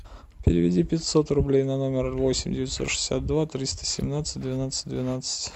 переведи пятьсот рублей на номер восемь девятьсот шестьдесят два триста семнадцать двенадцать двенадцать